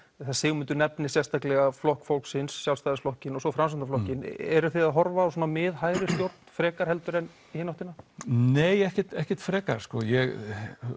að Sigmundur nefnir sérstaklega Flokk fólksins Sjálfstæðisflokkinn og svo Framsóknarflokkinn eruð þið að horfa á mið hægri stjórn frekar en í hina áttina nei ekkert ekkert frekar ég